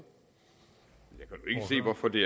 for det